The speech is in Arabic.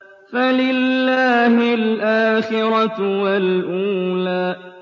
فَلِلَّهِ الْآخِرَةُ وَالْأُولَىٰ